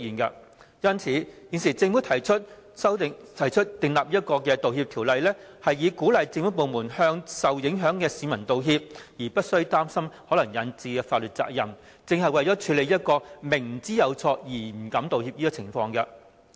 因此，政府提出《道歉條例草案》，以鼓勵政府部門向受影響市民道歉，而無須擔心可能引致的法律責任，正是為了處理這種明知有錯而不敢道歉的情況。